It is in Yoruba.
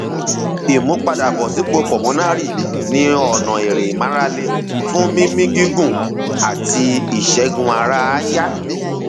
ìmúpadàbọsípò pulmonary ní ọnà eré ìmárale fún mímí gígùn àti ìṣègùn ara àyà